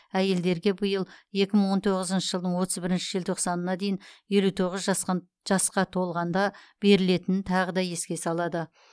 әйелдерге биыл екі мың он тоғызыншы жылдың отыз бірінші желтоқсанына дейін елу тоғыз жасқа толғанда берілетінін тағы да еске салады